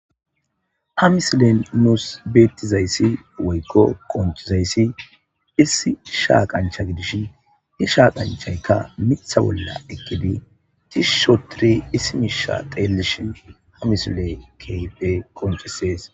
Ha misilen nuus beettizayssi woykko qonchizayssi issi shaaqancha gidish hi shaaqanchaykka mitha bolla ekkidi cishusho tiri issi miisha qeellishin ha misile keype qonchisees.